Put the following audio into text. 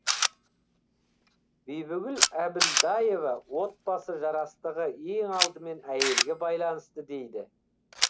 бибігүл әбілдаева отбасы жарастығы ең алдымен әйелге байланысты дейді